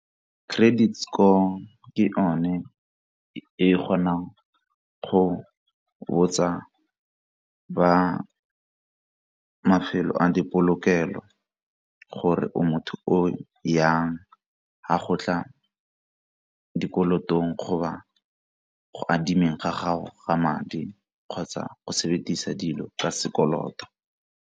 Credit score ke yone e kgonang go botsa ba mafelo a dipolokelo gore o motho o jang ga go tla dikolotong go ba go adimeng ga gago ga madi kgotsa go sebedisa dilo ka sekoloto.